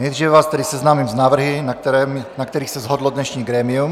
Nejdříve vás tedy seznámím s návrhy, na kterých se shodlo dnešní grémium.